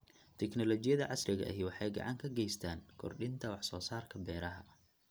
Tignoolajiyada casriga ahi waxay gacan ka geystaan ??kordhinta wax soo saarka beeraha.